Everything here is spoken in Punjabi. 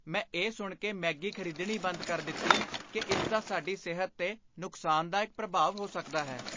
ਮੈਂ ਇਹ ਸੁਣ ਕੇ ਮੈਗੀ ਖ਼ਰੀਦਣੀ ਬੰਦ ਕਰ ਦਿੱਤੀ ਕਿ ਇਸ ਦਾ ਸਾਡੀ ਸਿਹਤ 'ਤੇ ਨੁਕਸਾਨਦਾਇਕ ਪ੍ਰਭਾਵ ਹੋ ਸਕਦਾ ਹੈ।